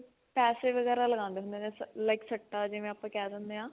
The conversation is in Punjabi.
ਪੈਸੇ ਵਗੇਰਾ ਲਗਾਉਂਦੇ ਹੁੰਦੇ ਨੇ like ਸੱਟਾ ਜਿਵੇਂ ਆਪਾਂ ਕਿਹ ਦਿੰਨੇ ਆ